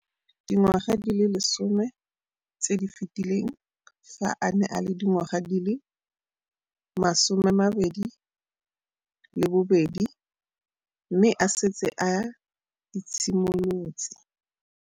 Dingwaga di le 10 tse di fetileng, fa a ne a le dingwaga di le 23 mme a setse a itshimoletse.